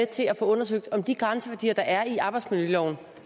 til at få undersøgt om de grænseværdier der er i arbejdsmiljøloven og